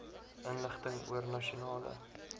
inligting oor nasionale